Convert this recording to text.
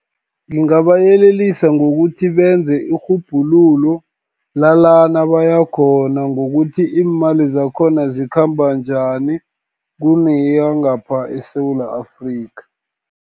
Ngingabayelelisa ngokuthi, benze irhubhululo lalana bayakhona, ngokuthi iimali zakhona zikhamba njani, kuneyangapha eSewula Afrika.